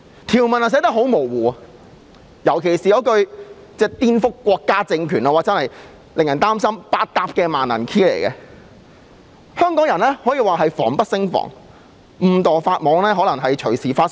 條文很模糊，尤其是"顛覆國家政權"那一句，令人擔心這是百搭的萬能鑰匙，令香港人防不勝防，可能隨時誤墮法網。